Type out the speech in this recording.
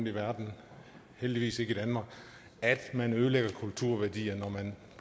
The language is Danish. i verden heldigvis ikke i danmark at man ødelægger kulturværdier når man